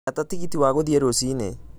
gata tigiti wa guthiĩ rũcinĩ